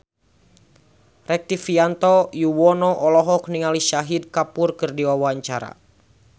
Rektivianto Yoewono olohok ningali Shahid Kapoor keur diwawancara